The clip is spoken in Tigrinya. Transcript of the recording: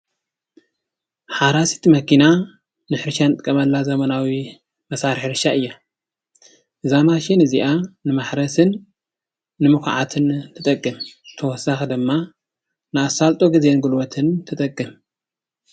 ሓራሲት መኪና ንሕርሻ ንጥቀመላ ዘመናዊ መሳርሒ ሕርሻ እያ። እዛ ማሽን እዚኣ ንማሕረስን ንምኳዓትን ትጠቅም ብተወሳኪ ድማ ንኣሳልጦን ግዜን ጉልበትን ትጠቅም።